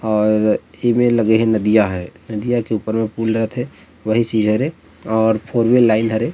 और एमे लगे हे नदिया हे नदिया के ऊपर में पूल रथे वही चीज हरे और फोर वील लाइन हरे --